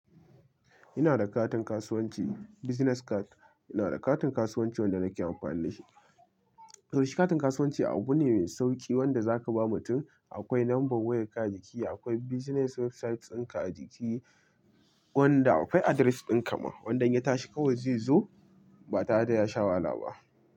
Ina da katin kasuwanci, business card. Ina da katin kasuwanci wanda nake amfani da shi. To shi katin kasuwanci abu ne mai sauƙi wanda za ka ba mutum. Akwai number wayar ka a jiki, akwai business website din ka a jiki wanda akwai address ɗin ka ma wanda in ya tashi kawai zai zo ba tare da ya sha wahala ba.